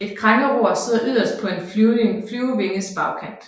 Et krængeror sidder yderst på en flyvinges bagkant